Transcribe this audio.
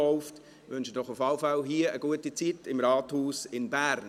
Ich wünsche Ihnen auf jeden Fall eine gute Zeit hier im Rathaus in Bern.